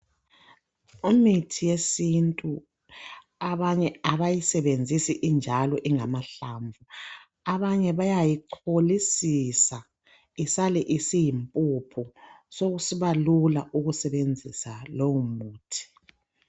Imithi yesintu abanye abayisebenzisi injalo ingamahlamvu abanye bayayicholisisa isale isiyimpuphu sokusiba lula ukusebenzisa lowo muthi.